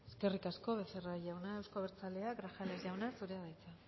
eskerrik asko becerra jauna euzko abertzaleak grajales jauna zurea da hitza